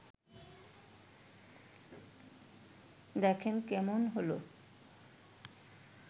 দেখেন, কেমন হলো